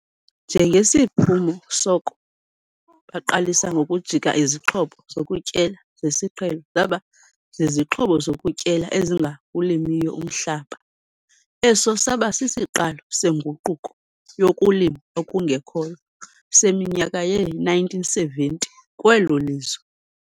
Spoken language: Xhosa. Njengesiphumo soko baqalisa ngokujika izixhobo zokutyala zesiqhelo zaba zizixhobo zokutyala ezingawulimiyo umhlaba. Esi saba sisiqalo "Senguquko Yokulima Okungekhoyo" seminyaka yee-1970 kwelo lizwe.